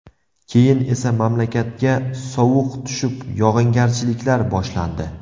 Keyin esa mamlakatga sovuq tushib, yog‘ingarchiliklar boshlandi.